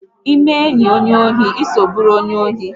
Ịme enyi onye ohi, ịso bụrụ onye ohi!